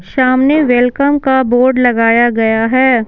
सामने वेलकम का बोर्ड लगाया गया है।